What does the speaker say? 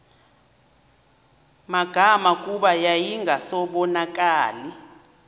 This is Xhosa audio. magama kuba yayingasabonakali